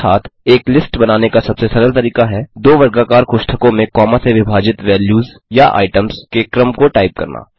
अर्थात् एक लिस्ट बनाने का सबसे सरल तरीका है दो वर्गाकार कोष्ठकों में कॉमा से विभाजित वैल्यूज़या आइटम्स के क्रम को टाइप करना